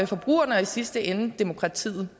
forbrugerne og i sidste ende demokratiet